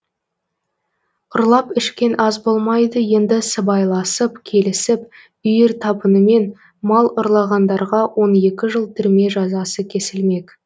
ұрлап ішкен ас болмайды енді сыбайласып келісіп үйір табынымен мал ұрлағандарға он екі жыл түрме жазасы кесілмек